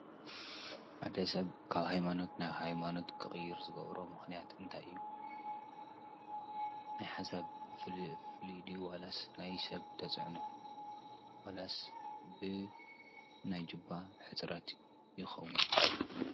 ሓደ ሰብ ካብ ሃይማኖት ናብ ሃይማኖት ክቅይር ዝገብሮ ምክንያት እንታይ እዩ? ናይ ሓሳብ ፍሉይ ድዩ ዋላስ ናይ ሰብ ተፅዕኖ? ዋላስ ብናይ ጅባ ሕፅረት ይከውን?